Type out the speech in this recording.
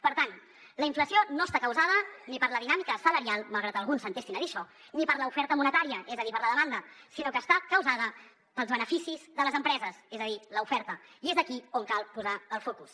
per tant la inflació no està causada ni per la dinàmica salarial malgrat que alguns s’entestin a dir això ni per l’oferta monetària és a dir per la demanda sinó que està causada pels beneficis de les empreses és a dir l’oferta i és aquí on cal posar el focus